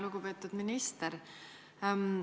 Lugupeetud minister!